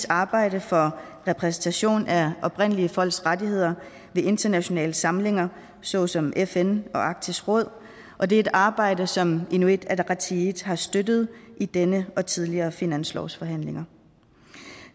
arbejde for repræsentation af oprindelige folks rettigheder ved internationale samlinger såsom fn og arktisk råd og det er et arbejde som inuit ataqatigiit har støttet i denne og tidligere finanslovsforhandlinger